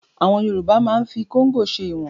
Àwọn Yorùbá máa ń fi kóngò ṣe ìwọ̀n